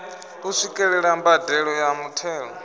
u swikelela mbadelo ya muthelo